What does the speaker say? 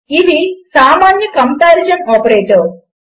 ఇవి సామాన్య comparison operators